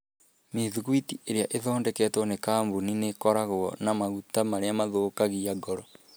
Mĩthugwiti iria ithondeketwo nĩ kambuni nĩ ikoragwo na maguta marĩa mangĩthũkia ngoro